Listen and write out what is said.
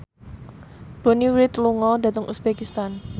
Bonnie Wright lunga dhateng uzbekistan